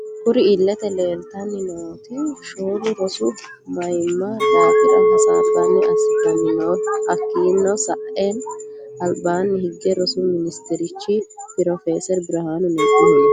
Kurri iilete leelitanni nooti shoolu rosu mayiimma daafira hassaba assitano no hakiino sa'eena alibaani higge rosu minisiterichu p/s birihanu negihu no.